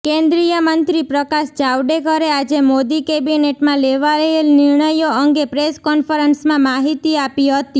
કેન્દ્રીય મંત્રી પ્રકાશ જાવડેકરે આજે મોદી કેબિનેટમાં લેવાયેલ નિર્ણયો અંગે પ્રેસ કોન્ફરન્સમાં માહિતી આપી હતી